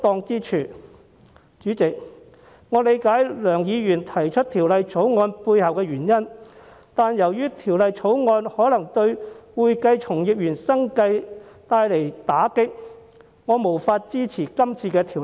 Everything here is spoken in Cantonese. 主席，我理解梁議員提出《條例草案》的背後原因，但由於《條例草案》可能對會計從業員生計帶來打擊，我無法支持。